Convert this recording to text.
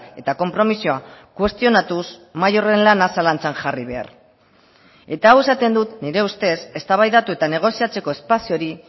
eta konpromisoa kuestionatuz mahai horren lana zalantzan jarri behar eta hau esaten dut nire ustez eztabaidatu eta negoziatzeko espazio hori